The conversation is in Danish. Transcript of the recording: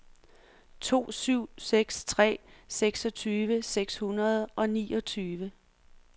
to syv seks tre seksogtyve seks hundrede og niogtyve